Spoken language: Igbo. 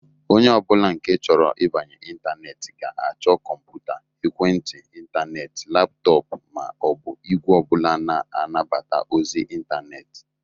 Onye ọbụla nke chọrọ ibanye intaneeti ga-achọ kọmpụta, Ekwentị intaneeti, laptoopu, ma o bụ igwe ọbụla na-anabata ozi intaneti.